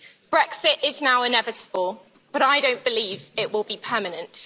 Brexit is now inevitable, but I don't believe it will be permanent.